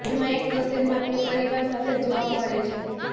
જેમાં એક તસ્વીરમાં તે પરિવાર સાથે જોવા મળે છે